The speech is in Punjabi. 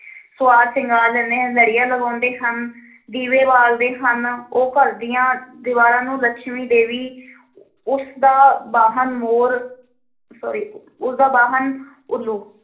ਸੰਵਾਰ-ਸ਼ਿੰਗਾਰ ਲੈਂਦੇ ਹਨ, ਲੜੀਆਂ ਲਗਾਉਂਦੇ ਹਨ ਦੀਵੇ ਬਾਲਦੇ ਹਨ, ਉਹ ਘਰ ਦੀਆਂ ਦੀਵਾਰਾਂ ਨੂੰ ਲੱਛਮੀ ਦੇਵੀ ਉਸ ਦਾ ਵਾਹਣ ਮੋਰ sorry ਉਸਦਾ ਵਾਹਨ ਉੱਲੂ